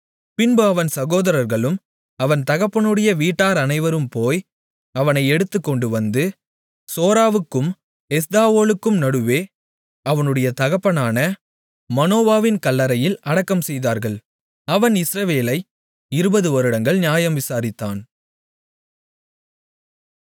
பின்பு அவன் சகோதரர்களும் அவன் தகப்பனுடைய வீட்டார் அனைவரும் போய் அவனை எடுத்துக்கொண்டுவந்து சோராவுக்கும் எஸ்தாவோலுக்கும் நடுவே அவனுடைய தகப்பனான மனோவாவின் கல்லறையில் அடக்கம்செய்தார்கள் அவன் இஸ்ரவேலை 20 வருடங்கள் நியாயம் விசாரித்தான்